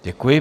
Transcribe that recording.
Děkuji.